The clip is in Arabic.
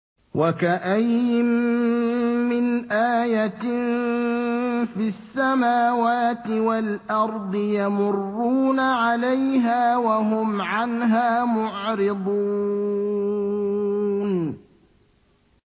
وَكَأَيِّن مِّنْ آيَةٍ فِي السَّمَاوَاتِ وَالْأَرْضِ يَمُرُّونَ عَلَيْهَا وَهُمْ عَنْهَا مُعْرِضُونَ